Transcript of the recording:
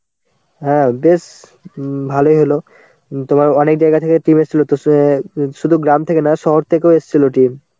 হ্যাঁ বেশ উম ভালোই হল. তোমার অনেক জায়গা থেকে team এসছিল. তো সে~ শুধু গ্রাম থেকে না শহর থেকেও এসছিল team.